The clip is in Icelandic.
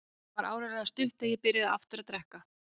Það var áreiðanlega stutt í að ég byrjaði aftur að drekka.